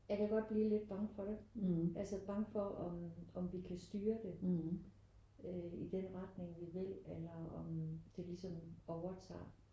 Jeg kan godt blive lidt bange for det. Altså bange for om om vi kan styre det øh i den retning vi vil eller om det ligesom overtager